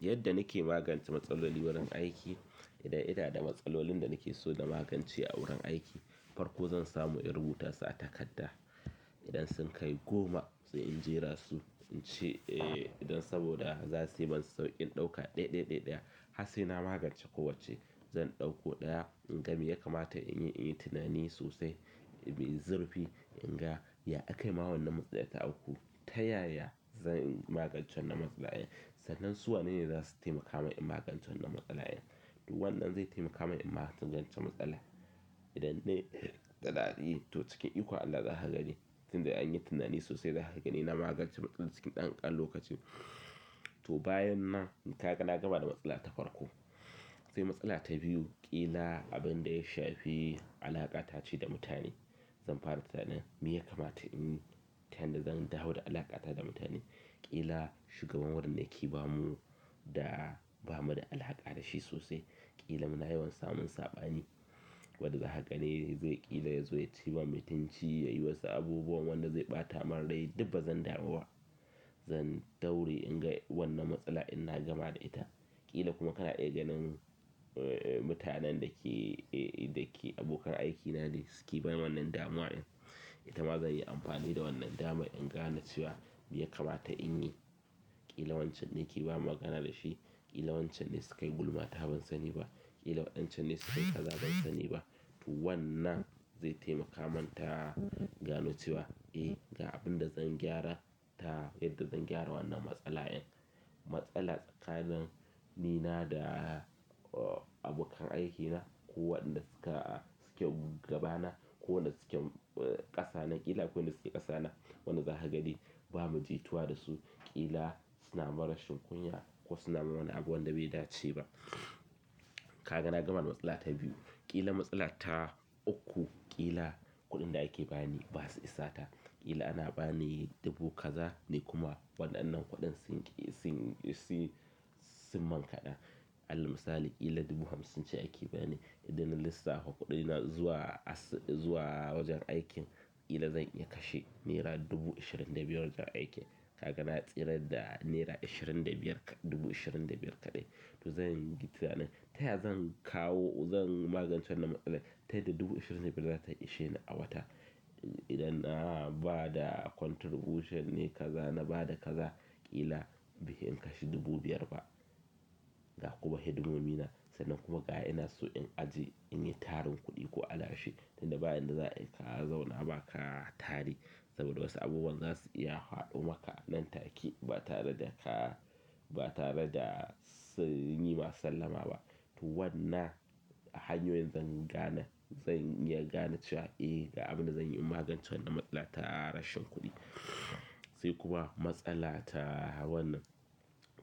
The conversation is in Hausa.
Yadda nake magance matsalolin wurin aiki, idan ina da matsalolin da nake so zan magance a wurin aiki, farko zan samu in rubuta su a takarda idan sun kai goma, sai in jera su in ce, eh, idan saboda za suyi man sauƙin ɗauka ɗaya, ɗaya, ɗaya, ɗaya. Har sai na magance kowacce, zan ɗauko ɗaya in ga me ya kamata in yi in yi tunani sosai, mai zurfi, in ga ya akai ma wannan matsalar ta auku. Ta yaya zan magance wannan matsala? Sannan su wane ne za su taimaka min in magance wannan matsala? Wannan zai taimaka min in magance matsalar idan ne da daɗi, to cikin iko Allah za ha gani. Tin da an yi tunani sosai za ha gani ina magance matsalar cikin ɗan ƙan lokacin. To bayan na, in ka ga na gama da matsala ta farko. Sai matsala ta biyu, ƙila abin da ya shafi alaƙa ta ce da mutane. Zan fara tinanin me ya kamata inyi ta yanda zan dawo da alaƙa ta da mutane. Ƙila shugaban wurin da yake ba mu, da ba mu da alhaƙa da shi sosai. Ƙila muna yawan samun saɓani. Wadda za ha gani zai ƙila ya zo ya ciwa mutunci, ya yi wasu abubuwan wanda zai ɓata ma rai. Dub ba zan dawo wa. Zan daure in ga wannan matsala in na gama da ita. Ƙila kuma kana iya ganin mutanen dake abokan aiki nana suke ban wannan damuwa din. Ita ma zai yi amfani da wannan dama in gano cewa me ya kamata in yi. Ƙila wancan ne yake ba magana da shi. Ƙila wancan ne su kai gulma ta ban sani ba. Ƙila waɗancan ne su kai kaza ban sani ba. To wannan zai taimaka man ta gano cewa, eh, ga abin da zan gyara ta yadda zan gyara wannan matsala. Matsala tsakanin ni da abokan aikina ko waɗanda suke, suke gabana ko waɗanda suke, eh, ƙasa na. Ƙila ko waɗanda suke ƙasa na, wanda zaka gani ba mu ji tuwa da su. Ƙila suna mun rashin kunya ko suna ma wani abu wanda bai dace ba. Ka ga na gama da matsala ta biyu. Ƙila matsala ta uku, ƙila kuɗin da ake ba ni ba su isata. Ƙila ana ba ni dubu kaza ne kuma waɗannan kuɗin sun, sun, sun, sun min kaɗa. Alal misali, ƙila dubu hamsin ce ake ba ni. Idan na lissafa kuɗina zuwa as-, zuwa wajen aikin, ƙila zan iya kashe nera dubu ashirin da biyar wajen aiki. Ka ga na tsira da nera ashirin da biyar kaɗ-, dubu ashirin da biyar kaɗai. To zan yi tinanin. Ta yaya zan kawo, zan magance wannan matsala? Ta yadda dubu ashirin da biyar za ta isheni a wata. Idan na bada contribution ne kaza na bada kaza baifi in kashe dubu biyar ba ga kuma hidimomi na. Sannan kuma ga ina so in ajiye, in yi tarin kuɗi ko alashi. Tin da bayan na za'a iya ka zauna ba ka tari, saboda wasu abubuwan za su iya faɗo maka nan take ba tare da ka, ba tare da suyi ma sallama ba. To wannan hanyoyin zan gane, zan iya gane cewa, eh, ga abin da zan yi in magance wannan matsala ta rashin kuɗi. Sai kuma matsala ta wannan